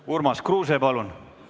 Urmas Kruuse, palun!